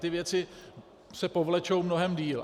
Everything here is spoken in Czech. Ty věci se povlečou mnohém déle.